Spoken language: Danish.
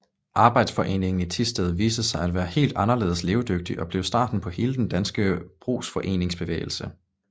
Arbejderforeningen i Thisted viste sig at være helt anderledes levedygtig og blev starten på hele den danske brugsforeningsbevægelse